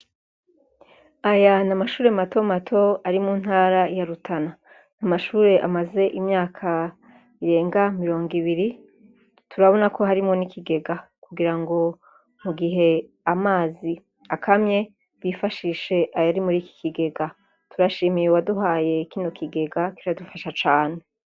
Aya n'amashure matomato ari mu ntara ya Rutana . N'amashure amaze imyaka irenga mirongo ibiri turabona ko harimwo n'ikigega kugira ngo mugihe amazi akamye bifashishe ayari muriki kigega, turashimiye uwaduhaye kino kigega kiradufasha cane.